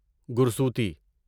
گرسوتی